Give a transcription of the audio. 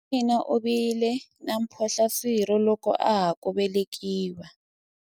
buti wa mina u vile na mphohlaswirho loko a ha ku velekiwa